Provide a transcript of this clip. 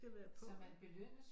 Skal være på ikke